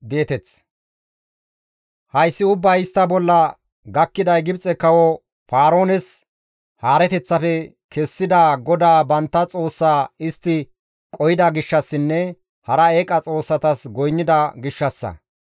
Hayssi ubbay istta bolla gakkiday Gibxe kawo Paaroones haareteththafe kessida GODAA bantta Xoossaa istti qohida gishshassinne hara eeqa xoossatas goynnida gishshassa.